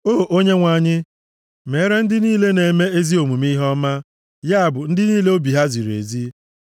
O Onyenwe anyị, meere ndị niile na-eme ezi omume ihe ọma, ya bụ, ndị niile obi ha ziri ezi.